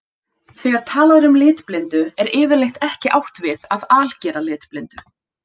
Þegar talað er um litblindu er yfirleitt ekki átt við að algera litblindu.